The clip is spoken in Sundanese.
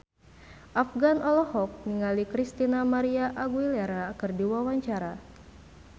Afgan olohok ningali Christina María Aguilera keur diwawancara